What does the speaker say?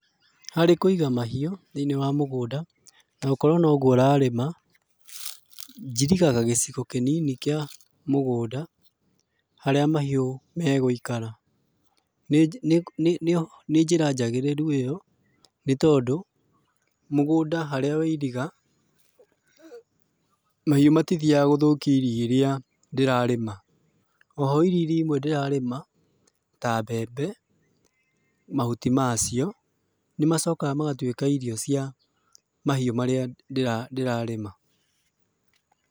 Harĩ kũiga mahiũ, thĩiniĩ wa mũgũnda, na gũkorwo noguo ũrarĩma, njirigaga gĩcigo kĩnini kĩa mũgũnda, harĩa mahiũ megũikara. Nĩ nĩ nĩ njĩra njagĩrĩru ĩyo, nĩtondũ, mũgũnda harĩa wairiga, mahiũ matithiaga gũthũkia irio iria ndĩrarĩma. Oho irio iria imwe ndĩrarĩma, ta mbembe, mahuti macio, nĩmacokaga magatuĩka irio cia mahiũ marĩa ndĩrarĩma.